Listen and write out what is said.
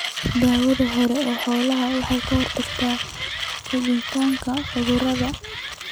Daawaynta hore ee xoolaha waxay ka hortagtaa fiditaanka cudurada.